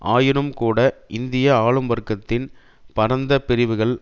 ஆயினும் கூட இந்திய ஆளும் வர்க்கத்தின் பரந்த பிரிவுகள்